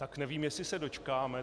Tak nevím, jestli se dočkáme.